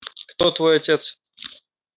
кто твой отец